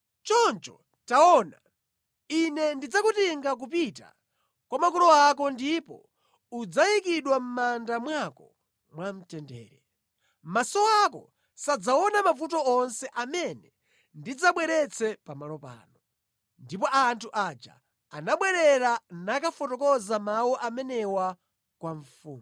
Choncho taona, Ine ndidzakutenga kupita kwa makolo ako ndipo udzayikidwa mʼmanda mwako mwamtendere. Maso ako sadzaona mavuto onse amene ndidzabweretse pamalo pano.’ ” Ndipo anthu aja anabwerera nakafotokoza mawu amenewa kwa mfumu.